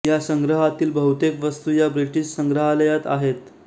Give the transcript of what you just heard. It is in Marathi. या संग्रहातील बहुतेक वस्तु या ब्रिटीश संग्रालयात आहेत